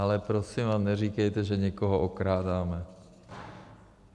Ale prosím vás, neříkejte, že někoho okrádáme.